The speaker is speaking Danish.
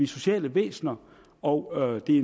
sociale væsener og det er